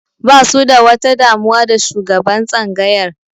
Basu da wata damuwa da shugaban tsangayar